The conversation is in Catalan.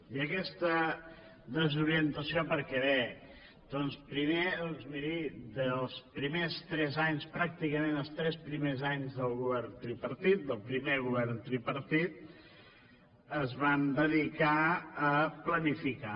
i aquesta desorientació per què ve primer doncs miri els primers tres anys pràcticament els tres primers anys el govern tripartit del primer govern tripartit es van dedicar a planificar